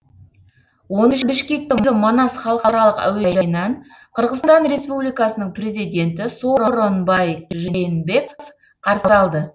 оны бішкектегі манас халықаралық әуежайынан қырғызстан республикасының президенті сооронбай жээнбеков қарсы алды